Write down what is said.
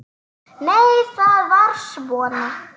Nei, það var svona!